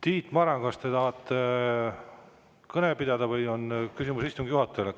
Tiit Maran, kas te tahate kõnet pidada või on küsimus istungi juhatajale?